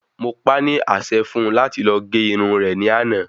Mo pá ní àsẹ fún un láti lọ gé irun rè ní àná